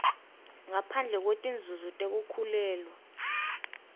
ngaphandle kwetinzunzo tekukhulelwa